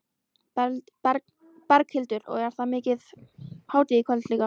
Berghildur: Og það er mikil hátíð í kvöld líka?